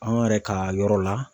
An yɛrɛ ka yɔrɔ la